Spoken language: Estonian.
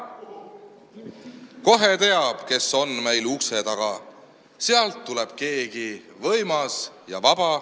Kohe teab, kes on meil ukse taga: sealt tuleb keegi võimas ja vaba.